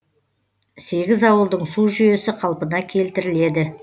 сегіз ауылдың су жүйесі қалпына келтіріледі